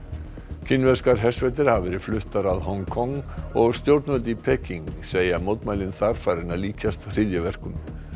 kínverskar hersveitir hafa verið fluttar að Hong Kong og stjórnvöld í Peking segja mótmælin þar farin að líkjast hryðjuverkum